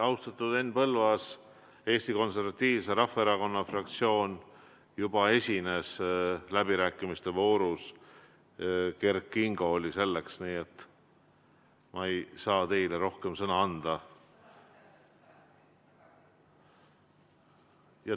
Austatud Henn Põlluaas, Eesti Konservatiivse Rahvaerakonna fraktsioon juba esines läbirääkimiste voorus, Kert Kingo tegi seda, nii et ma ei saa teile rohkem sõna anda.